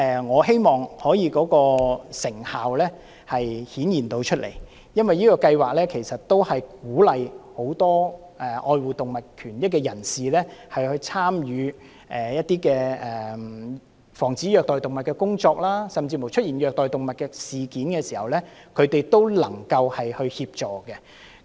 我希望這計劃能獲得顯著成效，因為它鼓勵愛護動物的人士參與防止虐待動物的工作，甚至在出現虐待動物的事件時，他們也能夠協助。